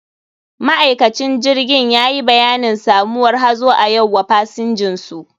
Ma'aikacin jirgin yayi bayanin samuwar hazo a yau wa pasinjinsu.